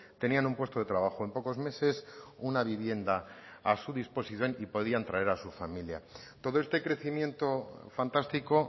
tenían un puesto de trabajo en pocos meses una vivienda a su disposición y podían traer a su familia todo este crecimiento fantástico